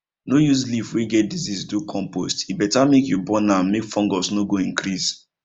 no use leaf wey get disease do compost e better make you burn am make fungus no go increase